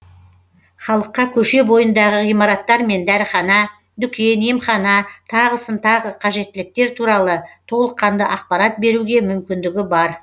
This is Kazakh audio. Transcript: халыққа көше бойындағы ғимараттар мен дәріхана дүкен емхана тағысын тағы қажеттіліктер туралы толыққанды ақпарат беруге мүмкіндігі бар